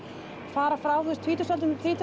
fara frá þú veist tvítugsaldrinum til